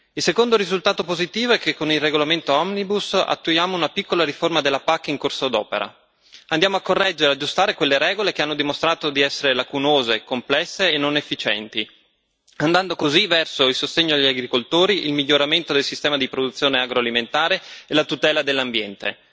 Il secondo risultato positivo è che con il regolamento omnibus attuiamo una piccola riforma della PAC in corso d'opera andiamo a correggere, ad aggiustare, quelle regole che hanno dimostrato di essere lacunose, complesse e non efficienti, andando così verso il sostegno agli agricoltori, il miglioramento del sistema di produzione agroalimentare e la tutela dell'ambiente.